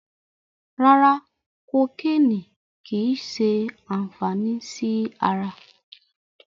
Rárá, kokéènì kìí ṣe àǹfàní sí ara.